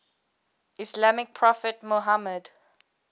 islamic prophet muhammad